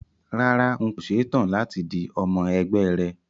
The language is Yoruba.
Rárá, n kò ṣe tán láti di ọmọ ẹgbẹ́ rẹ